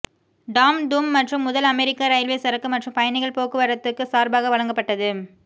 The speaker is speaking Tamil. டாம் தும் மற்றும் முதல் அமெரிக்க இரயில்வே சரக்கு மற்றும் பயணிகள் போக்குவரத்துக்குச் சார்பாக வழங்கப்பட்டது